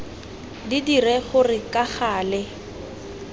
di dire gore ka gale